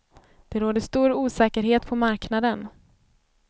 Det råder stor osäkerhet på marknaden.